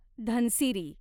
Dhansiri